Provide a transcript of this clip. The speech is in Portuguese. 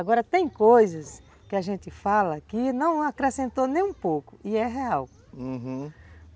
Agora, tem coisas que a gente fala que não acrescentou nem um pouco, e é real, uhum.